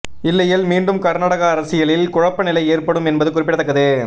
இல்லையேல் மீண்டும் கர்நாடக அரசியலில் குழப்ப நிலை ஏற்படும் என்பது குறிப்பிடத்தக்கது